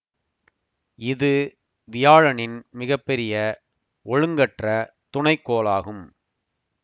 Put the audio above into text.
இது வியாழனின் மிக பெரிய ஒழுங்கற்ற துணைக்கோளாகும்